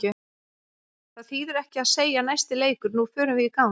Það þýðir ekki að segja næsti leikur, nú förum við í gang.